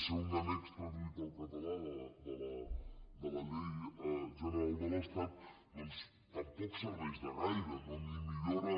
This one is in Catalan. ser un annex traduït al català de la llei general de l’estat doncs tampoc serveix de gaire ni millora